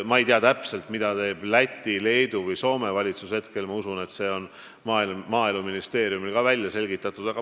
Ma ei tea täpselt, mida teeb Läti, Leedu või Soome valitsus, kuigi usun, et ka selle on Maaeluministeerium juba välja selgitanud.